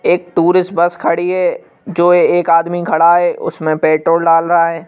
एक tourist bus खड़ी है जो एक आदमी खड़ा है उसमें पेट्रोल डाल रहा है।